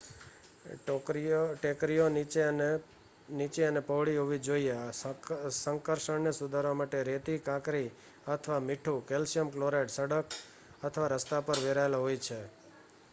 ટેકરીઓ નીચી અને પહોળી હોવી જોઈએ. સંકર્ષણને સુધારવા માટે રેતી કાંકરી અથવા મીઠું કેલ્શિયમ ક્લોરાઇડ સડક અથવા રસ્તા પર વેરાયેલ હોય છે